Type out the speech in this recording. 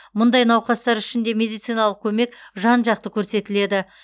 мұндай науқастар үшін де медициналық көмек жан жақты көрсетіледі